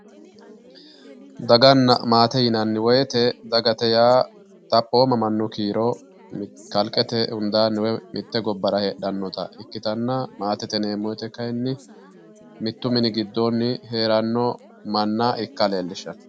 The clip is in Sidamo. daganna maate yinanni wote dagate yaa xaphooma mannu kiiro kalqete hundaanni woy mitte gobbara heedhannota ikkitanna, maatete yineemmoti kayiinni mittu mini gidoonni heeranno manna ikka leellishshanno.